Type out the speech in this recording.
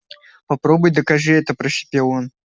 попробуй докажи это прошипел он